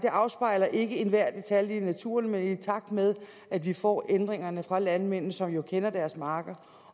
afspejler ikke enhver detalje i naturen men i takt med at vi får ændringerne fra landmændene som jo kender deres marker